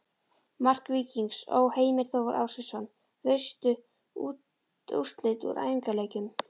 Mark Víkings Ó.: Heimir Þór Ásgeirsson Veistu úrslit úr æfingaleikjum?